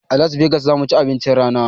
A las vegas zamuci abincin rana